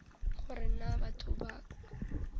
gore na ke batho ba